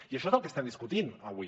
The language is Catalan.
i això és el que estem discutint avui